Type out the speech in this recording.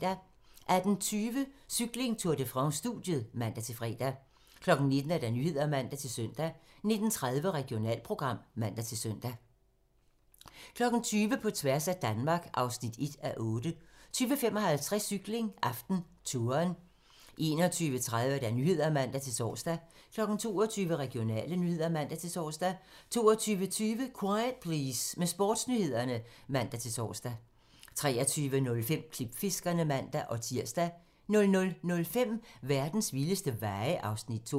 18:20: Cykling: Tour de France - studiet (man-fre) 19:00: Nyhederne (man-søn) 19:30: Regionalprogram (man-søn) 20:00: På tværs af Danmark (1:8) 20:55: Cykling: AftenTouren 21:30: Nyhederne (man-tor) 22:00: Regionale nyheder (man-tor) 22:20: Quiet Please med Sportsnyhederne (man-tor) 23:05: Klipfiskerne (man-tir) 00:05: Verdens vildeste veje (Afs. 2)